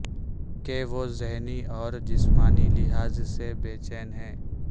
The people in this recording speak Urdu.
کہ وہ ذہنی اور جسمانی لحاظ سے بے چین ہے